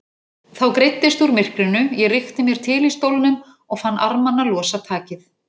Þá greiddist úr myrkrinu, ég rykkti mér til í stólnum og fann armana losa takið.